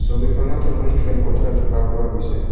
ছবিখনত এখন খেলপথাৰ দেখা পোৱা গৈছে।